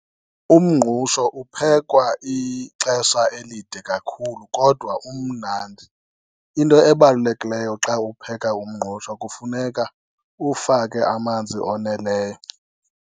Umngqusho uphekwa ixesha elide kakhulu kodwa umnandi. Into ebalulekileyo xa upheka umngqusho kufuneka uwufake amanzi oneleyo.